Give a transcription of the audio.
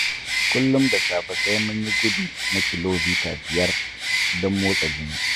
Kullum da safe sai mun yi gudu na kilomita biyar don motsa jini